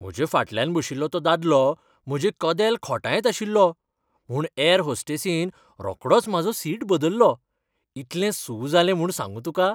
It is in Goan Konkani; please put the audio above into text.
म्हज्या फाटल्यान बशिल्लो तो दादलो म्हजें कदेल खोंटायत आशिल्लो म्हूण ऍर होस्टेसीन रोकडोच म्हाजो सीट बदल्लो. इतलें सू जालें म्हूण सांगू तुका.